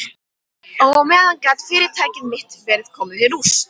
Og á meðan gat fyrirtæki mitt verið komið í rúst.